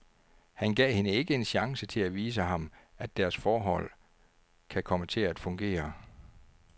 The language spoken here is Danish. Han gav hende ikke en chance til at vise ham, at deres forhold kan komme til at fungere.